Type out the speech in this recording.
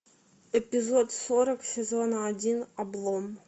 эпизод сорок сезона один облом